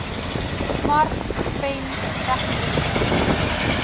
smart pen tegnologie